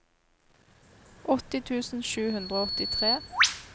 åtti tusen sju hundre og åttitre